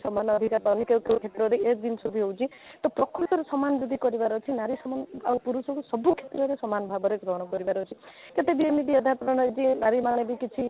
ସମାନ ଅଧିକାର ସବୁ କ୍ଷେତ୍ରରେ ଏ ସବୁ ଜିନିଷ ସବୁ ହେଉଛି ତ ପ୍ରକୃତରେ ସମାନ ଯଦି କରିବାର ଅଛି ନାରୀ ସମାଜ ଆଉ ପୁରୁଷକୁ ସବୁ କ୍ଷେତ୍ରରେ ସମାନ ଭାବରେ ଗ୍ରହଣ କରିବାର ଅଛି କେତେ ଦିନ ଏମିତି ଅଧା ପ୍ରେରଣା ବି ପରିମାଣ ବି କିଛି